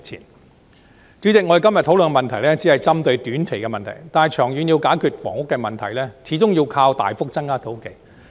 代理主席，我們今天討論的只是針對短期的問題，但長遠要解決房屋問題，始終要靠大幅增加土地。